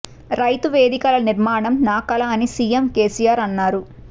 రైతు వేదికల నిర్మాణం నా కల అని సిఎం కెసిఆర్ అన్నారు